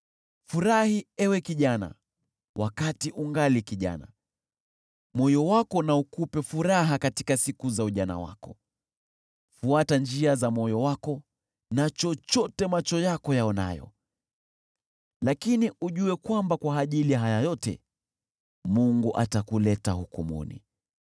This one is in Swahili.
Furahi ewe kijana, wakati ungali kijana, moyo wako na ukupe furaha katika siku za ujana wako. Fuata njia za moyo wako na chochote macho yako yaonayo, lakini ujue kwamba kwa ajili ya haya yote Mungu atakuleta hukumuni.